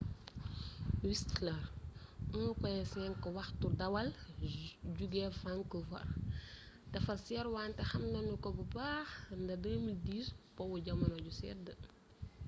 whistler 1.5 waxtu dawal jóge vancouver dafa seer wante xam nanu ko bu baax nda 2010 po wu jamono ju sedd